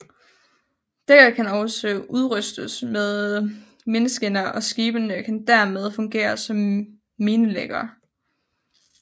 Dækket kan også udrustes med mineskinner og skibene kan dermed fungere som minelæggere